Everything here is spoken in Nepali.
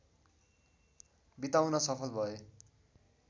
बिताउन सफल भए